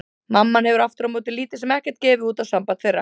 Mamma hefur aftur á móti lítið sem ekkert gefið út á samband þeirra.